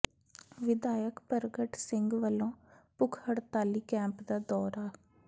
ਵਿਧਾਇਕ ਪਰਗਟ ਸਿੰਘ ਵੱਲੋਂ ਭੁੱਖ ਹਡ਼ਤਾਲੀ ਕੈਂਪ ਦਾ ਦੌਰਾ